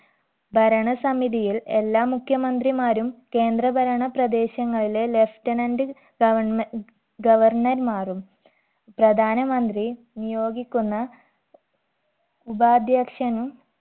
ഭരണസമിതിയിൽ എല്ലാ മുഖ്യമന്ത്രിമാരും കേന്ദ്ര ഭരണ പ്രദേശങ്ങളിലെ lieutenant governme governor മാരും പ്രധാനമന്ത്രി നിയോഗിക്കുന്ന ഉപാധ്യക്ഷനും